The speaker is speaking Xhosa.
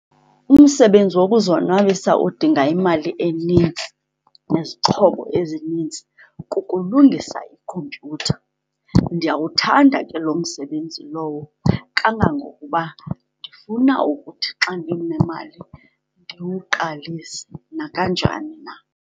Umsebenzi wokuzonwabisa odinga imali enintsi nezixhobo ezinintsi kukulungisa ikhompyutha. Ndiyawuthanda ke loo msebenzi lowo, kangangokuba ndifuna ukuthi xa ndinemali ndiwuqalise nakanjani na.